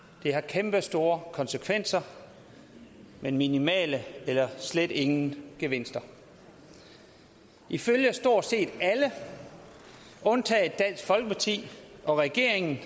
det har kæmpestore konsekvenser men minimale eller slet ingen gevinster ifølge stort set alle undtagen dansk folkeparti og regeringen